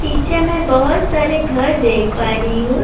پیچھے میں بھوت سارے گھر دیکھ پا رہی ہو۔